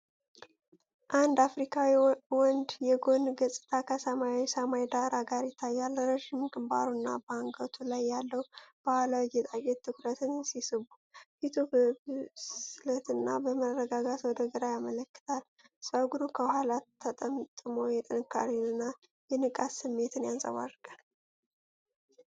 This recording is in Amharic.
አንድ አፍሪካዊ ወንድ የጎን ገጽታ ከሰማያዊ ሰማይ ዳራ ጋር ይታያል። ረዥም ግንባሩና በአንገቱ ላይ ያለው ባህላዊ ጌጣጌጥ ትኩረትን ሲስቡ፤ ፊቱ በብስለትና በመረጋጋት ወደ ግራ ይመለከታል። ጸጉሩ ከኋላ ተጠምጥሞ የጥንካሬን እና የንቃት ስሜትን ያንጸባርቃል።